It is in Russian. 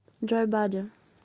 джой бади